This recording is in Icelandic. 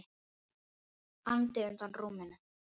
andi undan rúminu.